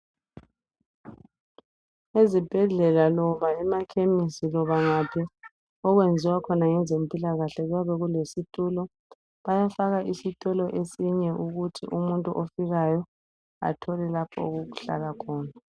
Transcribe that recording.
Ezibhedlela loba emaKhemistri loba ngaphi okwenziwa khona ngezempilakahle kuyabe kulesitulo , bayafaka isitulo esinye ukuthi umuntu ofikayo athole lapho okokuhlala khona